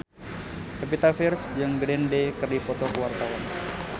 Pevita Pearce jeung Green Day keur dipoto ku wartawan